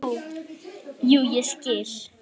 Jú, ég skil.